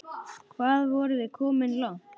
Hvað vorum við komin langt?